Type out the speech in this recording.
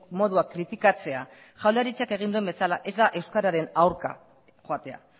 modua kritikatzea jaurlaritzak egin duen bezala ez da euskararen aurka joatea